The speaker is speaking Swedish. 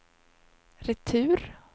retur